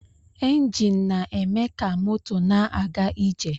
Enjin na-eme ka moto na-aga ije